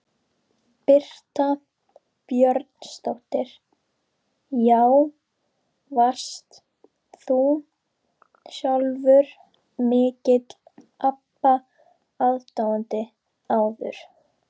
Birta Björnsdóttir: Já, varst þú sjálfur mikill Abba aðdáandi áður?